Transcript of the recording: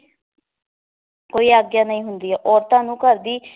ਕੋਈ ਆਗਿਆ ਨਹੀ ਹੁੰਦੀ ਏ ਔਰਤਾਂ ਨੂੰ ਘਰ ਦੀ